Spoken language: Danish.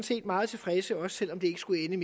set meget tilfredse også selv om det ikke skulle ende